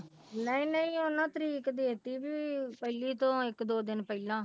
ਨਹੀਂ ਨਹੀਂ ਉਹਨਾਂ ਤਰੀਕ ਦੇ ਦਿੱਤੀ ਵੀ ਪਹਿਲੀ ਤੋਂ ਇੱਕ ਦੋ ਦਿਨ ਪਹਿਲਾਂ